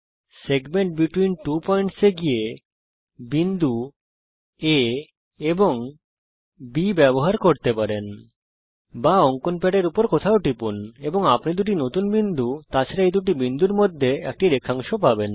segment between two points এ গিয়ে বিন্দু A এবং B ব্যবহার করে আপনি একটি রেখাংশ আহরণ করতে পারেন বা অঙ্কন প্যাডের উপর কোথাও টিপুন এবং আপনি দুটি নতুন বিন্দু তাছাড়া এই দুটি বিন্দুর মধ্যে একটি রেখাংশ পাবেন